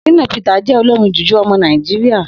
Shina Peter je olorin JuJu omo Naijiria.